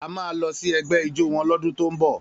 A máa lọ sí ẹgbẹ́ ijó wọn lọ́dún tó ń bọ̀